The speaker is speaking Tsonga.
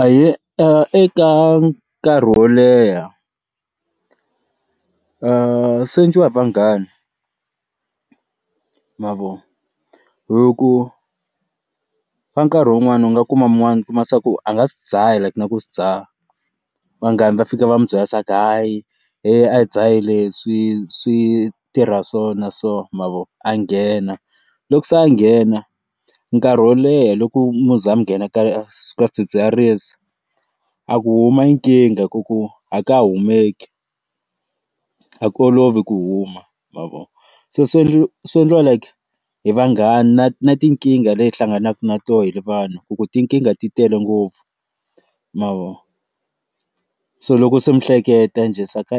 Ahee, eka nkarhi wo leha swienciwa hi va vanghana mavona hi ku ka nkarhi wun'wani u nga kuma mun'wani ku a nga swi dzaha na ku swi dzaha vanghana va fika va n'wi byela swaku hayi he a hi dzahi leswi switirha so na so mavona a nghena loko se a nghena nkarhi wo leha loko mi za mi nghena ka swi ka swidzidziharisi a ku huma i nkingha ku ku a ka ha kumeki a ku olovi ku huma mavona se swi endla like swi endliwa hi vanghana na tinkingha leyi hlanganaka na tona hi ri vanhu ku ku tinkingha ti tele ngopfu mavo so loko se mihleketo njhe ni se ka